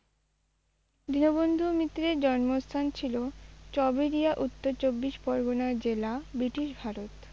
দীনবন্ধু মিত্রের জন্মস্থান ছিল চৌবেরিয়া উত্তর চব্বিশ পরগণার জেলা, british ভারত।